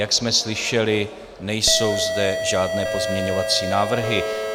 Jak jsme slyšeli, nejsou zde žádné pozměňovací návrhy.